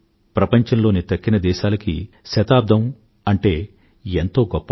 ప్రపంచంలోని తక్కిన దేశాలji శతాబ్దం అంటే ఎంతో గొప్ప